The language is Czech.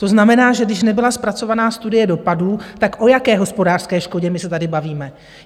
To znamená, že když nebyla zpracovaná studie dopadů, tak o jaké hospodářské škodě my se tady bavíme?